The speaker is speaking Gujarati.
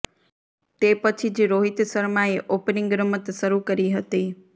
તે પછી જ રોહિત શર્માએ ઓપનિંગ રમત શરૂ કરી હતી